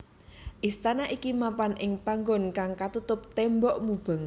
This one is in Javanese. Istana iki mapan ing panggon kang katutup tembok mubeng